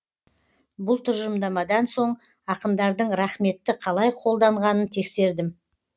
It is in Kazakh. бұл тұжырымдамадан соң ақындардың рақметті қалай қолданғанын тексердім